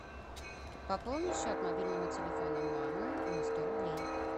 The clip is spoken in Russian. пополни счет мобильного телефона мамы на сто рублей